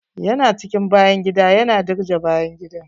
Ya na cikin bayan gida, yana dirje bayan gidan.